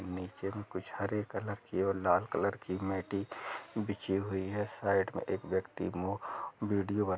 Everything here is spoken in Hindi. नीचे मे कुछ हरे कलर की और लाल कलर की मेटी बिछी हुई है साइड मे एक व्यक्ति मो विडियो --